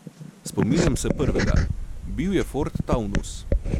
Spominjam se prvega, bil je ford taunus.